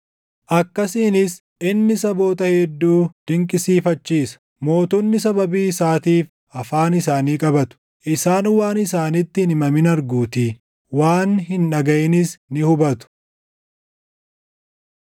akkasiinis inni saboota hedduu dinqisiifachiisa; mootonni sababii isaatiif afaan isaanii qabatu. Isaan waan isaanitti hin himamin arguutii; waan hin dhagaʼinis ni hubatu.